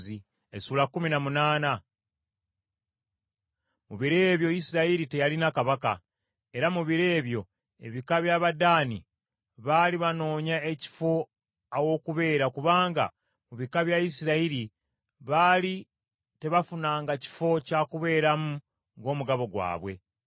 Mu biro ebyo Isirayiri teyalina kabaka. Era mu biro ebyo ekika ky’Abadaani baali banoonya ekifo aw’okubeera kubanga mu bika bya Isirayiri baali tebafunanga kifo kya kubeeramu ng’omugabo gwabwe.